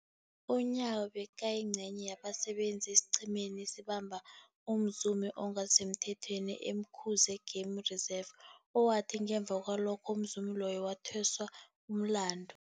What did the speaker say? UNyawo bekayingcenye yabasebenza esiqhemeni esabamba umzumi ongasisemthethweni e-Umkhuze Game Reserve, owathi ngemva kwalokho umzumi loyo wathweswa umlandu.